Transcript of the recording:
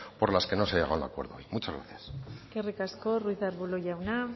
por las que no se ha llegado a un acuerdo hoy muchas gracias eskerrik asko ruiz de arbulo jauna